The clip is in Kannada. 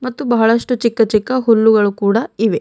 ಮತ್ತು ಬಹಳಷ್ಟು ಚಿಕ್ಕ ಚಿಕ್ಕ ಹುಲ್ಲುಗಳು ಕೂಡ ಇವೆ.